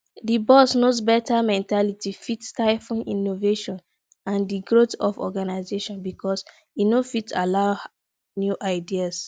di boss knows best mentality fit stifle innovation and di growth of organization because e no fit allow new ideas